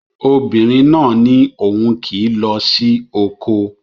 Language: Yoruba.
Obìnrin náà ní òun kì í lọ sí oko